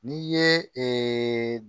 N'i ye